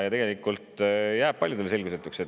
Tegelikult jääb see paljudele selgusetuks.